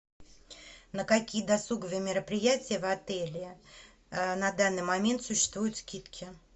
на какие досуговые мероприятия в отеле на данный момент существуют скидки